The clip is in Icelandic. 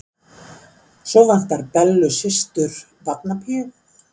Svo vantar Bellu systur barnapíu.